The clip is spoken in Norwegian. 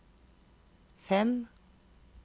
fem